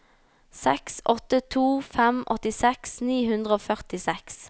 seks åtte to fem åttiseks ni hundre og førtiseks